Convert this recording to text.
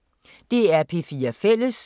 DR P4 Fælles